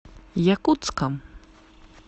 якутском